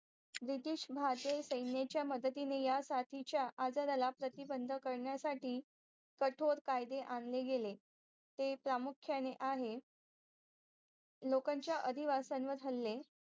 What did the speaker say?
BRITESH भारतीय सेयनेच्या मदतीने यासाठीच्या आजाराला प्रतिबंध करण्यासाठी कटोरकायदे आणले गेले ते प्रामुख्याने आहे लोकांचा आदिवासावर हल्ले